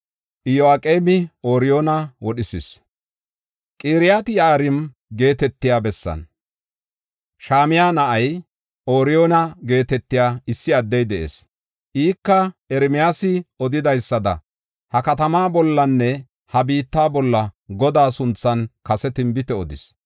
Qiriyat-Yi7aarima geetetiya bessan, Shamaya na7aa, Ooriyoona geetetiya issi addey de7ees. Ika Ermiyaasi odidaysada, ha katamaa bollanne ha biitta bolla Godaa sunthan kase tinbite odis.